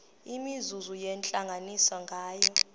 imizuzu yentlanganiso nganye